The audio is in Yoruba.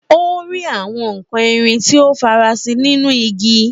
Ó rí àwọn nkan irin tí ó farasin nínú igi.